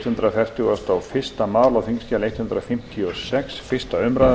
virðulegi forseti í frumvarpi því sem hér er til umræðu